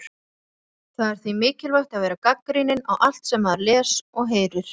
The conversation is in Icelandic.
Það er því mikilvægt að vera gagnrýninn á allt sem maður les og heyrir.